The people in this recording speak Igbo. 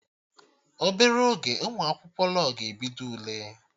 Obere oge Ụmụ akwụkwọ law ga-ebido Ule